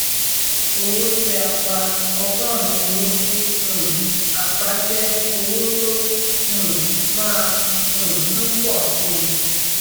owó tí a pa ọgọrùn-ún owó tí um a pa jẹ owó tó um má um ń pọ síi